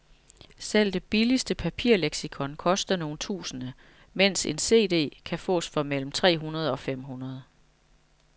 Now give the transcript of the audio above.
Selv det billigste papirleksikon koster nogle tusinde, mens en cd kan fås for mellem tre hundrede og fem hundrede.